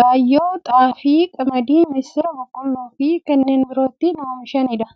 gaayyoo, xaafii, qamadii, misira, boloqqeefi kanneen biroo itti oomishamiidha.